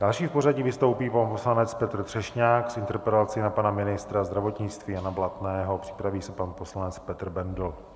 Další v pořadí vystoupí pan poslanec Petr Třešňák s interpelací na pana ministra zdravotnictví Jana Blatného, připraví se pan poslanec Petr Bendl.